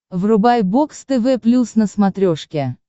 врубай бокс тв плюс на смотрешке